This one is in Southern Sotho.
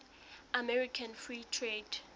american free trade